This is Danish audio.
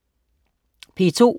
P2: